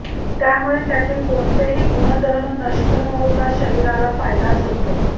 त्यामुळे त्यातील कोणतेही गुणधर्म नष्ट न होता शरीराला फायदाच होतो